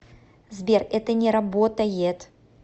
сбер это не работает